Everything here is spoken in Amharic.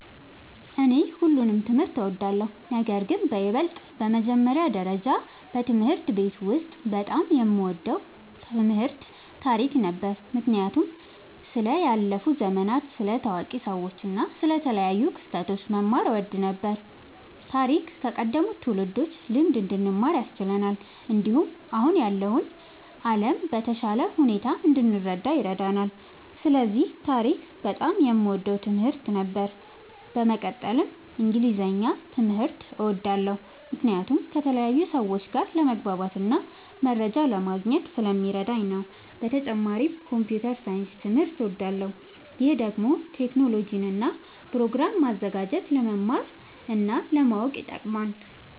እኔ ሁሉንም ትምህርት እወዳለሁ፤ ነገርግን በይበልጥ በመጀመሪያ ደረጃ በትምህርት ቤት ውስጥ በጣም የምወደው ትምህርት ታሪክ ነበር። ምክንያቱም ስለ ያለፉ ዘመናት፣ ስለ ታዋቂ ሰዎች እና ስለ ተለያዩ ክስተቶች መማር እወድ ነበር። ታሪክ ከቀደሙት ትውልዶች ልምድ እንድንማር ያስችለናል፣ እንዲሁም አሁን ያለውን ዓለም በተሻለ ሁኔታ እንድንረዳ ይረዳናል። ስለዚህ ታሪክ በጣም የምወደው ትምህርት ነበር። በመቀጠልም እንግሊዝኛ ትምህርት እወዳለሁ ምክንያቱም ከተለያዩ ሰዎች ጋር ለመግባባትና መረጃ ለማግኘት ስለሚረዳኝ ነዉ። በተጨማሪም ኮምፒዉተር ሳይንስ ትምህርትም እወዳለሁ። ይህ ደግሞ ቴክኖሎጂን እና ፕሮግራም ማዘጋጀትን ለመማር እና ለማወቅ ይጠቅማል።